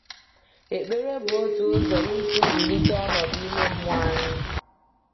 Ekpere bụ otu ụzọ isi zụlite ọnọdụ ime mmụọ anyị.